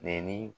Ni